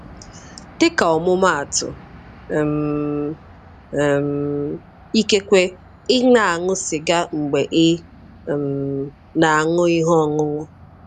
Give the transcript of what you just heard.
Dịka ọmụmaatụ, um um ikekwe ị na-aṅụ sịga mgbe ị um na-aṅụ ihe ọṅụṅụ.